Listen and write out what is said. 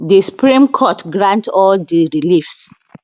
di supreme court grant all di reliefs